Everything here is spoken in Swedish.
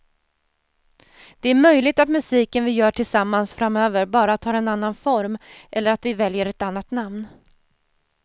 Det är möjligt att musiken vi gör tillsammans framöver bara tar en annan form eller att vi väljer ett annat namn.